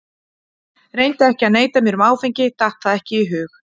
Reyndi ekki að neita mér um áfengi, datt það ekki í hug.